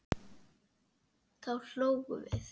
Þá hlógum við.